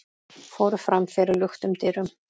fóru fram fyrir luktum dyrum.